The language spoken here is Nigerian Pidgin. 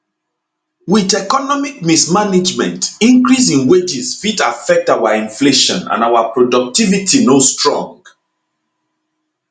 wit economic mismanagement increase in wages fit affect our inflation and our productivity no strong